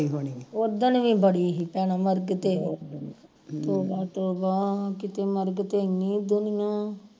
ਉਦਣ ਵੀ ਬੜੀ ਹੀ ਭੈਣਾਂ ਮਰਗ ਤੇ ਤੋਬਾ ਤੋਬਾ ਕਿਤੇ ਮਰਗ ਤੇ ਇੰਨੀ ਦੁਨੀਆਂ